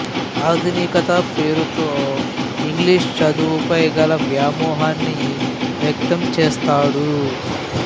ఆధునికత పేరుతో ఇంగ్లీషు చదువుపై గల వ్యామోహాన్ని వ్యక్తం చేసాడు